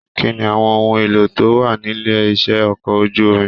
Kínní àwọn ohùn èlò tó wà nílé iṣẹ ọkọ̀ ojú omi?